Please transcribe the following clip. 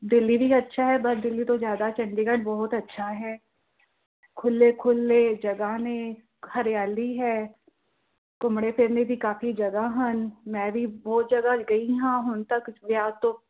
ਦਿੱਲੀ ਅੱਛਾ ਹੈ ਪਰ ਦਿੱਲੀ ਤੋਂ ਜ਼ਿਆਦਾ ਚੰਡੀਗੜ ਜ਼ਿਆਦਾ ਅੱਛਾ ਹੈ, ਖੁੱਲੇ ਖੁੱਲੇ ਜਗ੍ਹਾ ਨੇ, ਹਰਿਆਲੀ ਹੈ, ਘੁੰਮਣੇ ਫਿਰਨੇ ਦੀ ਕਾਫ਼ੀ ਜਗ੍ਹਾ ਹਨ ਮੈਂ ਵੀ ਬਹੁਤ ਜਗ੍ਹਾ ਗਈ ਹਾਂ ਹੁਣ ਤੱਕ ਵਿਆਹ ਤੋਂ